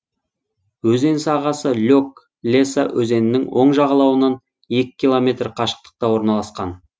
өзен сағасы лек леса өзенінің оң жағалауынан екі километр қашықтықта орналасқан